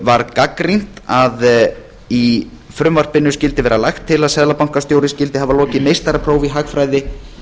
var gagnrýnt að í frumvarpinu skyldi vera lagt til að seðlabankastjóri skyldi hafa lokið meistaraprófi í hagfræði